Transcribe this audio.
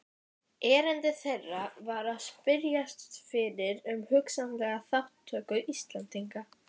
Erindi þeirra var að spyrjast fyrir um hugsanlega þátttöku Íslendinga.